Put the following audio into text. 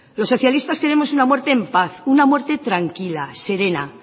los socialistas queremos una muerte en paz una muerte tranquila serena